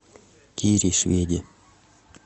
кире шведе